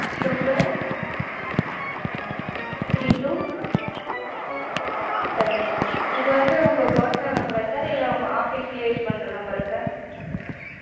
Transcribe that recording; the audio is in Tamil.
two five three two seven one. இது வந்து உங்க personal number ஆ sir? இல்ல உங்க office யே use பண்ற number ஆ sir?